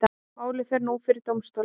Málið fer nú fyrir dómstóla